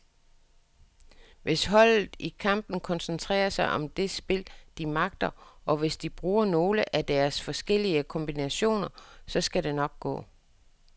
Hvis holdet i kampen koncentrerer sig om det spil, de magter, og hvis de bruger nogle af deres forskellige kombinationer, så skal det nok gå.